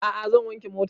A'a zan wanke motan